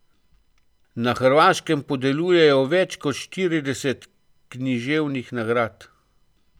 Na Hrvaškem podeljujejo več kot štirideset književnih nagrad.